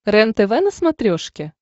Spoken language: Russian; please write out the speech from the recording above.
рентв на смотрешке